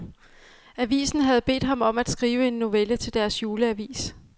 Avisen havde bedt ham om at skrive en novelle til deres juleavis.